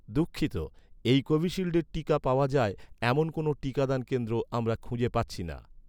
দুঃখিত, এই কোভিশিল্ডের টিকা পাওয়া যায়, এমন কোনও টিকাদান কেন্দ্র আমরা খুঁজে পাচ্ছি না